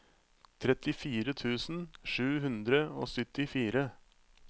trettifire tusen sju hundre og syttifire